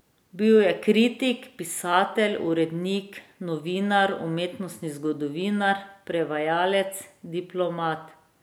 Bil je kritik, pisatelj, urednik, novinar, umetnostni zgodovinar, prevajalec, diplomat ...